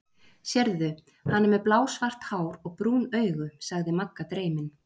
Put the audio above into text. Sérðu, hann er með blásvart hár og brún augu? sagði Magga dreymin.